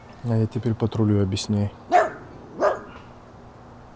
а я теперь патрулю объясняй